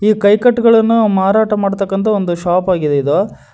ಕೈಕಟ್ಟಗಳನ್ನು ಮಾರಾಟ ಮಾಡತಕಂತಹ ಒಂದು ಶಾಪ್ ಆಗಿದೆ ಇದು.